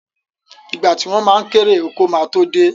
Ìgbà tí wọ́n ma kérè oko ma tó dé